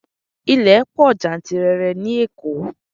Ilẹ̀ pọ̀ jantirẹrẹ ní oko.